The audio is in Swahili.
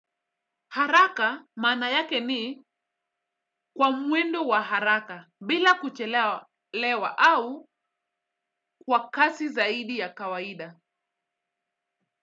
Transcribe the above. Haraka mana yake ni kwa muendo wa haraka bila kuchelewa au kwa kasi zaidi ya kawaida.